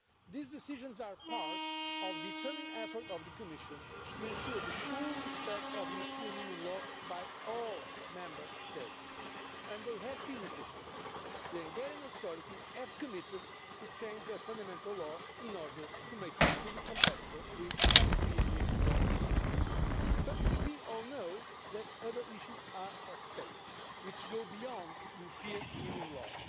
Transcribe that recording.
These decisions are part of a determined effort on the part of the Commission to ensure full respect for European Union law by all Member States, and they have been efficient. The Hungarian authorities have committed to changing their Fundamental Law in order to make it fully compatible with European Union law, but we all know that other issues are at stake which go beyond European Union law.